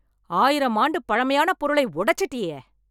ஆயிரம் ஆண்டு பழைமையான பொருளை உடைச்சிட்டேயே